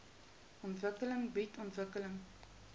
ontwikkeling bied ontwikkeling